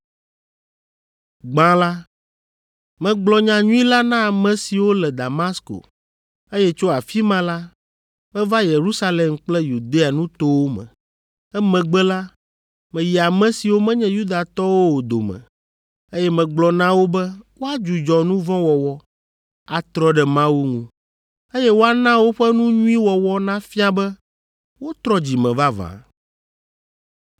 Gbã la, megblɔ nyanyui la na ame siwo le Damasko, eye tso afi ma la, meva Yerusalem kple Yudea nutowo me. Emegbe la, meyi ame siwo menye Yudatɔwo o dome, eye megblɔ na wo be woadzudzɔ nu vɔ̃ wɔwɔ, atrɔ ɖe Mawu ŋu, eye woana woƒe nu nyui wɔwɔ nafia be wotrɔ dzi me vavã.